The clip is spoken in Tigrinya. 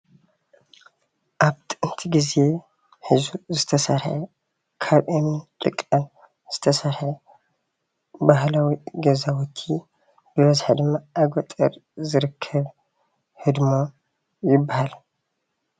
ኣብ ጥንቲ ግዜ ሒዙ ዝተሰርሐ ካብ እምኒን ጭቃን ዝተሰርሐ ባህላዊ ገዛውቲ ብበዝሒ ድማ ኣብ ገጠር ዝርከብ ህድሞ ይባሃል፡፡